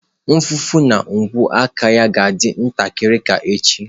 Mfụfụ na ogwe aka ya ga-adị ntakịrị ka echi